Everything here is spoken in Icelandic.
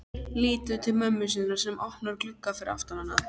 Lítur til mömmu sinnar sem opnar glugga fyrir aftan hana.